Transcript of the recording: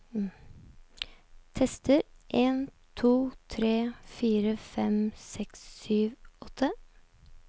Tester en to tre fire fem seks sju åtte